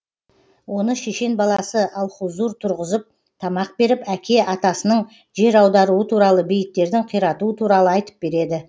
оны шешен баласы алхузур тұрғызып тамақ беріп әке атасының жер аударуы туралы бейіттердің қиратуы туралы айтып береді